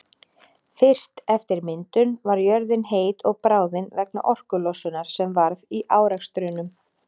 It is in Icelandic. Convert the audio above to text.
Fyrst eftir myndun var jörðin heit og bráðin vegna orkulosunar sem varð í árekstrunum.